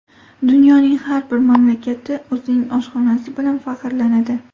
Dunyoning har bir mamlakati o‘zining oshxonasi bilan faxrlanadi.